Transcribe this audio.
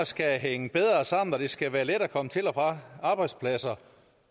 skal hænge bedre sammen og det skal være let at komme til og fra arbejdspladser